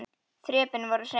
Þrepin voru hrein.